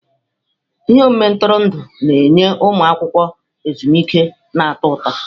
Ihe omume ntụrụndụ na-enye ụmụ akwụkwọ ezumike na-atọ ụtọ.